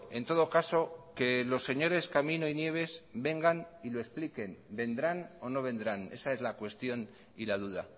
en todo caso que los señores camino y nieves vengan y lo expliquen vendrán o no vendrán esa es la cuestión y la duda